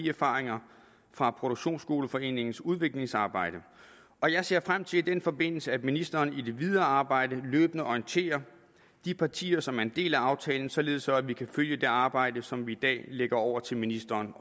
erfaringerne fra produktionsskoleforeningens udviklingsarbejde og jeg ser frem til i den forbindelse at ministeren i det videre arbejde løbende orienterer de partier som er en del af aftalen således at vi kan følge det arbejde som vi i dag lægger over til ministeren